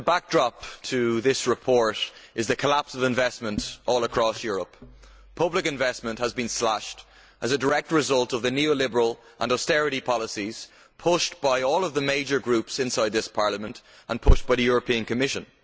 Mr President, the backdrop to this report is the collapse of investment all across Europe. Public investment has been slashed as a direct result of the neo liberal and austerity policies pushed by all of the major groups inside this Parliament, and by the Commission.